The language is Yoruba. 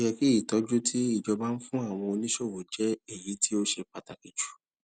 ó yẹ kí ìtọjú tí ìjọba ń fún àwọn oníṣòwò jẹ èyí tó ṣe pàtàkì jù